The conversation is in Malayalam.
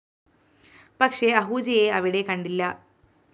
പക്ഷേ അഹൂജയെ അവിടെ കണ്ടില്ല